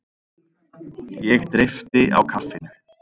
Ég dreypti á kaffinu.